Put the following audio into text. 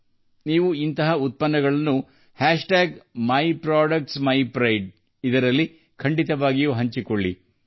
ನೀವು ಅಂತಹ ಉತ್ಪನ್ನಗಳನ್ನು myproductsmypride ನಲ್ಲಿ ಹಂಚಿಕೊಳ್ಳಬೇಕು